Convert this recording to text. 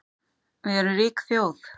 Við erum rík þjóð